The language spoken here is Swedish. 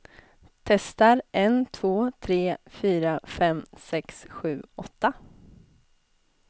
Testar en två tre fyra fem sex sju åtta.